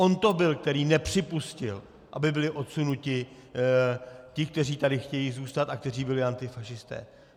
On to byl, který nepřipustil, aby byli odsunuti ti, kteří tady chtějí zůstat a kteří byli antifašisté.